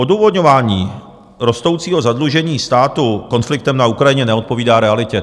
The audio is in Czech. Odůvodňování rostoucího zadlužení státu konfliktem na Ukrajině neodpovídá realitě.